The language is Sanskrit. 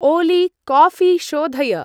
ओलि! काफी शोधय।